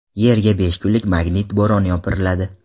Yerga besh kunlik magnit bo‘roni yopiriladi.